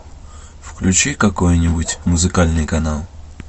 включи какой нибудь музыкальный канал